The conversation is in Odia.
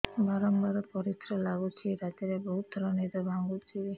ବାରମ୍ବାର ପରିଶ୍ରା ଲାଗୁଚି ରାତିରେ ବହୁତ ଥର ନିଦ ଭାଙ୍ଗୁଛି